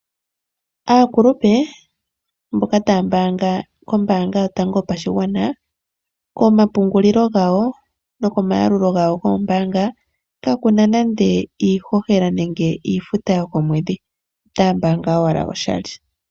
Aakulupe mboka taambaanga kombaanga yotango yopashigwana, komapungulilo gawoo nokomayalulo gawo goombaanga kakuna nande iihohela nenge iifuta yokomwedhi. Otaambaanga owala oshali.